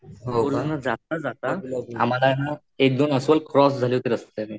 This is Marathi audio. जाता जाता आम्हाला ना एक दोन अस्वल क्रॉस झाले होते रस्त्याने.